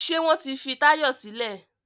Ṣé wọ́n ti fi Táyọ̀ sílẹ̀?